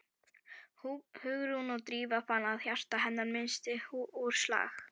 Hugrún og Drífa fann að hjarta hennar missti úr slag.